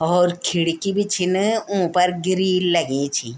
हौर खिड़की भी छिन ऊफर गिरिल लगीं छीं।